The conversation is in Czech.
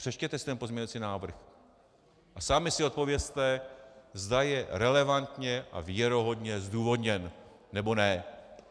Přečtěte si ten pozměňovací návrh a sami si odpovězte, zda je relevantně a věrohodně zdůvodněn nebo ne.